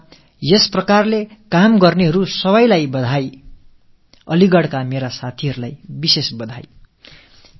நாட்டில் இப்படிப்பட்ட பணிகளில் ஈடுபடும் அனைவருக்கும் என் பாராட்டுதல்கள் சிறப்பாக அலீகட்டின் எனது தோழர்களுக்கு என் வாழ்த்துக்கள்